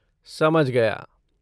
समझ गया।